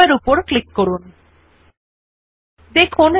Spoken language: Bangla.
সুতরাং প্রথমে এডুকেশন ডিটেইলস লেখাটি নির্বাচন করুন